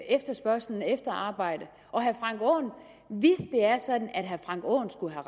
efterspørgslen efter arbejde hvis det er sådan at herre frank aaen skulle have